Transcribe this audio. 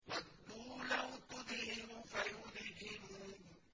وَدُّوا لَوْ تُدْهِنُ فَيُدْهِنُونَ